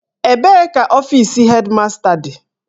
Ebee ka ọfis Hedmasta dị?